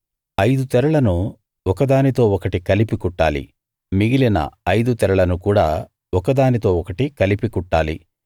ఐదు తెరలను ఒక దానితో ఒకటి కలిపి కుట్టాలి మిగిలిన ఐదు తెరలను కూడా ఒక దానితో ఒకటి కలిపి కుట్టాలి